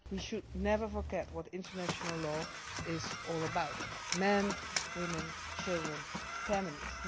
We should never forget what international law is all about men, women children families.